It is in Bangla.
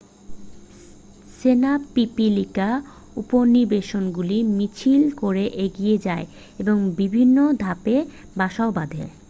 সেনা পিপিলিকা উপনিবেশগুলি মিছিল করে এগিয়ে যায় এবং বিভিন্ন ধাপে বাসাও বাঁধে